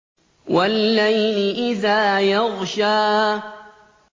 وَاللَّيْلِ إِذَا يَغْشَىٰ